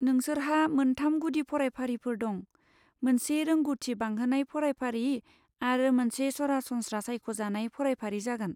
नोंसोरहा मोनथाम गुदि फरायफारिफोर दं, मोनसे रोंग'थि बांहोनाय फरायफारि आरो मोनसे सरासनस्रा सायख'जानाय फरायफारि जागोन।